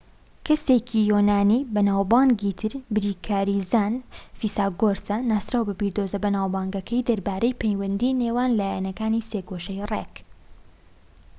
کەسێکی یۆنانیی بەناوبانگی تر بیرکاریزان فیساگۆرسە ناسراوە بە بیردۆزە بەناوبانگەکەی دەربارەی پەیوەندی نێوان لایەکانی سێگۆشەی ڕێك